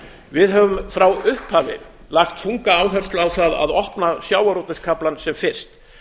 við höfum frá upphafi lagt þunga áherslu á það að opna sjávarútvegskaflann sem fyrst